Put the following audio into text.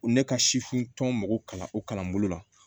Ne ka sifin tɔn mako kalan o kalanbolo la